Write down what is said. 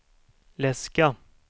läska